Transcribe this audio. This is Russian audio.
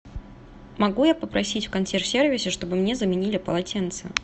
могу я попросить в консьерж сервисе чтобы мне заменили полотенце